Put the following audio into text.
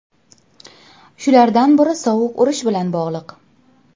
Shulardan biri Sovuq urush bilan bog‘liq.